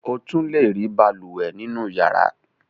O tún le rí balùwẹ̀ nínú ìyàrá.